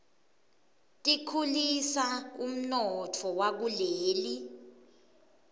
tikhulisa umnotfo wakuleli